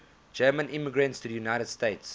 german immigrants to the united states